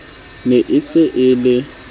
ne e se e le